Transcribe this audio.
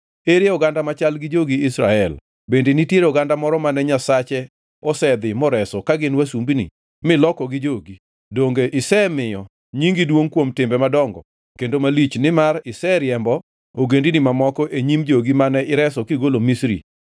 Ere oganda machal gi jogi Israel? Bende nitiere oganda moro mane Nyasache osedhi moreso ka gin wasumbini milokogi jogi? Donge isemiyo nyingi duongʼ kuom timbe madongo kendo malich, nimar iseriembo ogendini mamoko e nyim jogi mane ireso kigolo Misri?